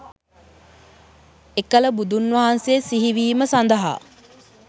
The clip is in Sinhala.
එකල බුදුන් වහන්සේ සිහිවීම සඳහා